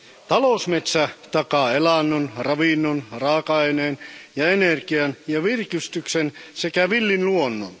Talousmetsä takaa elannon, ravinnon, raaka aineen, energian ja virkistyksen sekä villin luonnon.